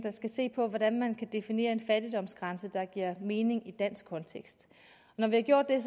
skal se på hvordan man kan definere en fattigdomsgrænse der giver mening i en dansk kontekst når vi har gjort det er